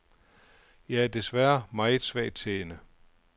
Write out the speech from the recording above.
Jeg er desværre meget svagtseende.